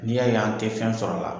N'i y'a ye an tɛ fɛn sɔrɔla